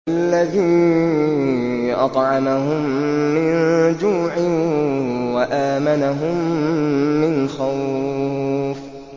الَّذِي أَطْعَمَهُم مِّن جُوعٍ وَآمَنَهُم مِّنْ خَوْفٍ